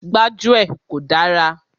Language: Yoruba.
Gbájúẹ̀ kò dára.